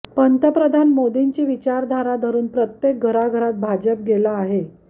पंतप्रधान मोदींची विचारधारा धरून प्रत्येक घराघरात भाजप गेला आहे